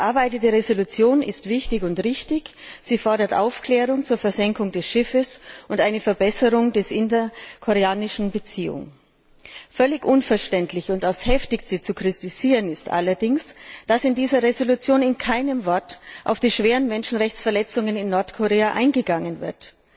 Die erarbeitete Entschließung ist wichtig und richtig. Sie fordert Aufklärung zur Versenkung des Schiffes und eine Verbesserung der interkoreanischen Beziehung. Völlig unverständlich und auf das Heftigste zu kritisieren ist allerdings, dass in dieser Entschließung mit keinem Wort auf die schweren Menschenrechtsverletzungen in Nordkorea eingegangen wird.